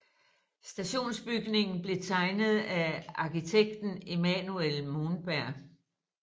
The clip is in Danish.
Stationsbygningen blev tegnet af arkitekten Emanuel Monberg